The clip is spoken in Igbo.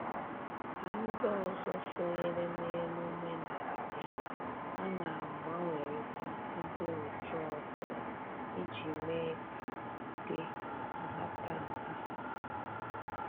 Ka ndị ọzọ sonyere n'emume na-abịa, a na-agbanwerita ndị otu ọbụla iji mee ka dị nhatanha